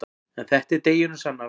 En þetta er deginum sannara.